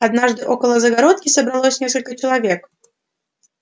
однажды около загородки собралось несколько человек